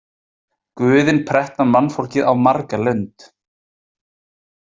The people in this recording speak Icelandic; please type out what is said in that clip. Guðin pretta mannfólkið á marga lund.